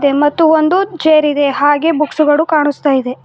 ಮತ್ತು ಒಂದು ಚೇರಿದೆ ಹಾಗೆ ಬುಕ್ಸ್ ಗಳು ಕಾಣಿಸ್ತಾ ಇದೆ.